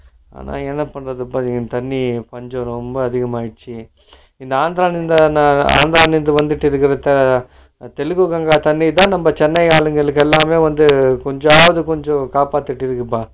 ஆனா என்ன பன்றதுப்பா இங்க தண்ணி பஞ்சம் ரொம்ப அதிகமாயிடுச்சு நான்தா இந்த நான்தா இந்த வந்துட்டு இருக்குறத தெளிவு பண்ணாத நம்ம சென்னை ஆளுகளுக்கு எல்லாமே வந்து கொஞ்சமாவது கொஞ்சம் காப்பதிட்டு இருக்குப்பா